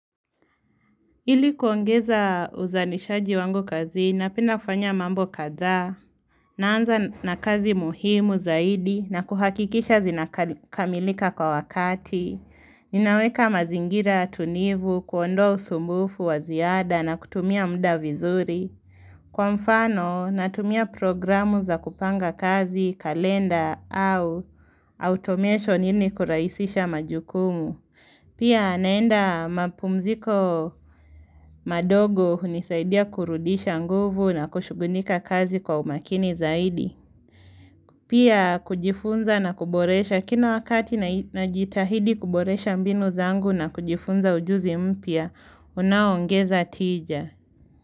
Ili kuongeza uzalishaji wangu kazini, ninapenda kufanya mambo kadhaa. Naanza na kazi muhimu zaidi na kuhakikisha zinakamilika kwa wakati. Ninaweka mazingira tunivu, kuondoa usumbufu waziada na kutumia mda vizuri. Kwa mfano, natumia programu za kupanga kazi, kalenda au automation ili kurahisisha majukumu. Pia naenda mapumziko madogo hunisaidia kurudisha nguvu na kushugulika kazi kwa umakini zaidi. Pia kujifunza na kuboresha kila wakati najitahidi kuboresha mbinu zangu na kujifunza ujuzi mpya, unaoongeza tija.